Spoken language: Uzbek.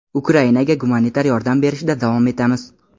Ukrainaga gumanitar yordam berishda davom etamiz.